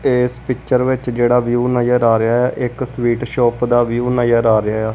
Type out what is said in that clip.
ਏਸ ਪਿਕਚਰ ਵਿੱਚ ਜੇਹੜਾ ਵਿਊ ਨਜਰ ਆ ਰਿਹਾ ਹੈ ਇੱਕ ਸਵੀਟ ਸ਼ੌਪ ਦਾ ਵਿਊ ਨਜਰ ਆ ਰਿਹਾ ਹੈ।